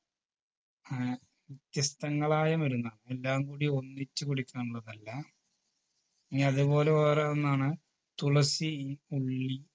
ആഹ് വ്യത്യസ്തങ്ങളായ മരുന്നാണ് എല്ലാം കൂടി ഒന്നിച്ച് കുടിക്കാനുള്ളതല്ല ഇനി അതേപോലെ വേറെ ഒന്നാണ് തുളസി ഉള്ളി